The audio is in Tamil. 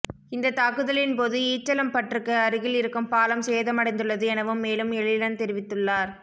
இந்தத் தாக்குதலின் போது ஈச்சலம்பற்றுக்கு அருகில் இருக்கும் பாலம் சேதமடைந்துள்ளது எனவும் மேலும் எழிலன் தெரிவித்துள்ளார்